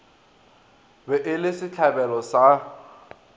be e le setlabelo sa